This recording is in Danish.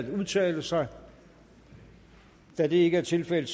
at udtale sig da det ikke er tilfældet